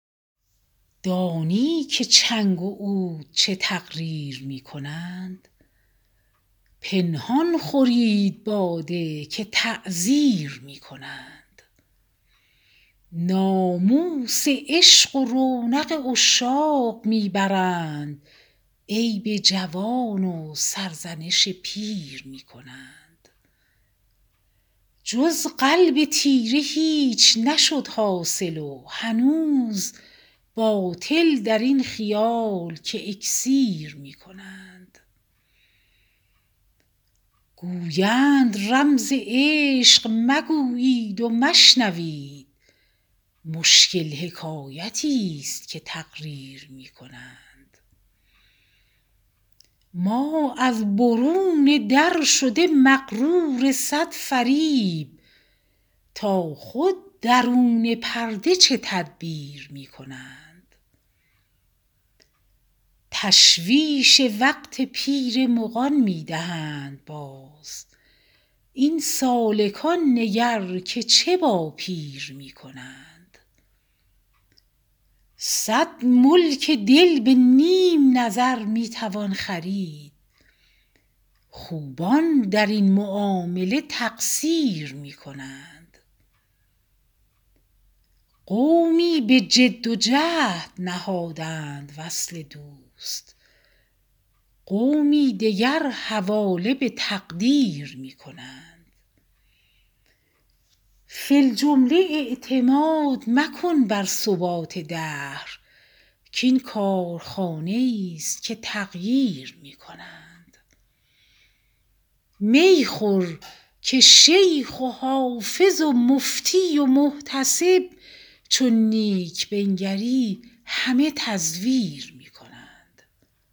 دانی که چنگ و عود چه تقریر می کنند پنهان خورید باده که تعزیر می کنند ناموس عشق و رونق عشاق می برند عیب جوان و سرزنش پیر می کنند جز قلب تیره هیچ نشد حاصل و هنوز باطل در این خیال که اکسیر می کنند گویند رمز عشق مگویید و مشنوید مشکل حکایتیست که تقریر می کنند ما از برون در شده مغرور صد فریب تا خود درون پرده چه تدبیر می کنند تشویش وقت پیر مغان می دهند باز این سالکان نگر که چه با پیر می کنند صد ملک دل به نیم نظر می توان خرید خوبان در این معامله تقصیر می کنند قومی به جد و جهد نهادند وصل دوست قومی دگر حواله به تقدیر می کنند فی الجمله اعتماد مکن بر ثبات دهر کـ این کارخانه ایست که تغییر می کنند می خور که شیخ و حافظ و مفتی و محتسب چون نیک بنگری همه تزویر می کنند